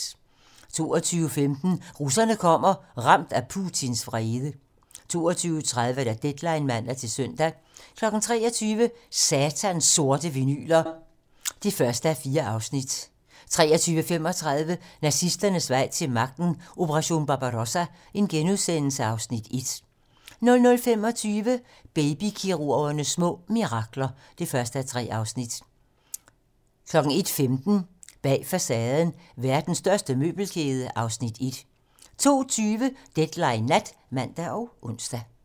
22:15: Russerne kommer - ramt af Putins vrede 22:30: Deadline (man-søn) 23:00: Satans sorte vinyler (1:4) 23:35: Nazisternes vej til magten: Operation Barbarossa (Afs. 1)* 00:25: Baby-kirurgernes små mirakler (1:3) 01:15: Bag facaden: Verdens største møbelkæde (Afs. 1) 02:20: Deadline nat (man og ons)